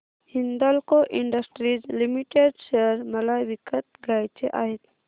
Hindalco industries limited share मला विकत घ्यायचे आहेत